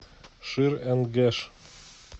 шир энд геш